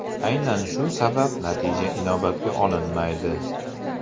Aynan shu sabab natija inobatga olinmaydi.